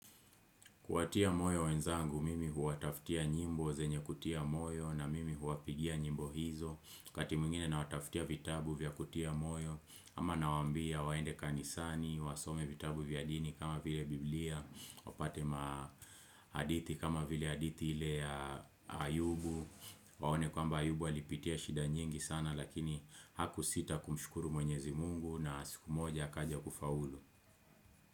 Kuwatia moyo wenzangu, mimi huwataftia nyimbo zenye kutia moyo na mimi huwapigia nyimbo hizo, kati mwngine nawatafutia vitabu vya kutia moyo, ama nawambia waende kanisani, wasome vitabu vya dini kama vile biblia, wapate ma hadithi kama vile hadithi ile ya ayubu, waone kwamba ayubu alipitia shida nyingi sana lakini hakusita kumshukuru mwenyezi mungu na siku moja akaja kufaulu.